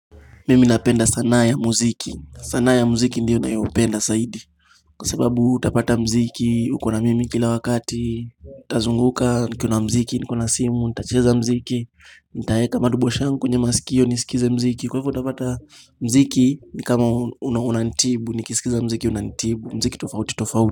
Mimi napenda sanaa ya mziki. Sanaa ya mziki ndiyo nayopenda zaidi. Kwa sababu utapata mziki, uko na mimi kila wakati, ntazunguka, nikiwa na mziki, nikiwa na simu, ntacheza mziki, nitaeka madobo shangu, kwenye masikio, nisikize mziki. Kwaivo utapata mziki, ni kama, unanitibu, nikisikiza mziki, unanitibu, mziki tofauti, tofauti.